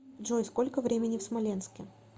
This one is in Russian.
джой сколько времени в смоленске